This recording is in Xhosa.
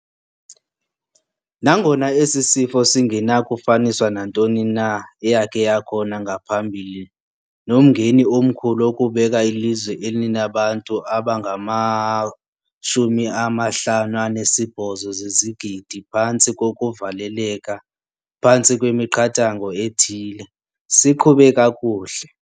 Nangona esi sifo singenakufaniswa nantoni na eyakhe yakhona ngaphambili nomngeni omkhulu wokubeka ilizwe elinabantu abangama-58 zezigidi phantsi kokuvaleleka phantsi kwemiqathango ethile, siqhube kakuhle.